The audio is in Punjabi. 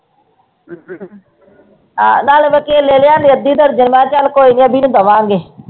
ਹਾਂ ਨਾਲੇ ਮੈਂ ਕੇਲੇ ਨੇ ਲਿਆਂਦੀ ਅੱਧੀ ਦਰਜਨ ਮੈਂ ਚੱਲ ਕੋਈ ਨੀ ਅਬੀ ਨੂੰ ਦੇਵਾਂਗੇ।